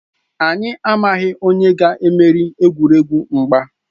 Anyị amaghị onye ga-emeri egwuregwu mgba.